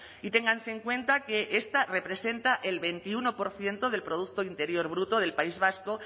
y ténganse en cuenta que esta representa el veintiuno por ciento del producto interior bruto del país vasco